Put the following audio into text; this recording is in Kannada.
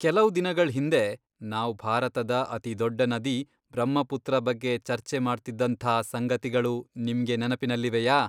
ಕೆಲವು ದಿನಗಳ್ ಹಿಂದೆ ನಾವ್ ಭಾರತದ ಅತಿದೊಡ್ಡ ನದಿ ಬ್ರಹ್ಮಪುತ್ರ ಬಗ್ಗೆ ಚರ್ಚೆ ಮಾಡ್ತಿದ್ದಂಥಾ ಸಂಗತಿಗಳು ನಿಮ್ಗೆ ನೆನಪಿನಲ್ಲಿವೆಯಾ?